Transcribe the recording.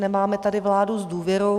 Nemáme tady vládu s důvěrou.